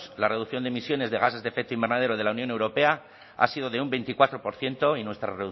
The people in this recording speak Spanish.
la reducción de emisiones de gases de efecto invernadero de la unión europea ha sido de un veinticuatro por ciento y nuestra